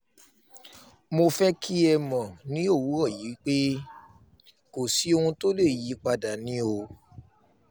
mo fẹ́ kí ẹ mọ̀ ní òwúrọ̀ yìí pé kò sí ohun tó lè yí i padà ni o